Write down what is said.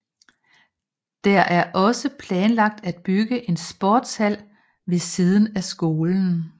Der er også planlagt at bygge en sportshal ved siden af skolen